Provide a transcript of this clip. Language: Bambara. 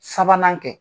Sabanan kɛ